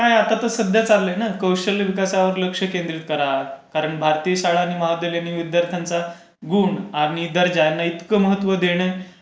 काय आता तर सध्या चालू आहे ना कौशल्य विकासावर लक्ष केन्द्रित करा. कारण भारतीय शाळा आणि महाविद्यालयांमध्ये विद्यार्थ्यांचा गुण आणि दर्जाना इतक महत्त्व